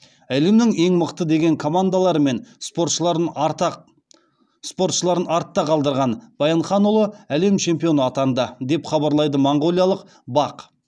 әлемнің ең мықты деген командалары мен спортшыларын артта қалдырған баянханұлы әлем чемпионы атанды деп хабарлайды моңғолиялық бақ